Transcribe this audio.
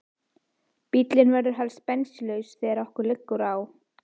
Bíllinn verður helst bensínlaus þegar okkur liggur á.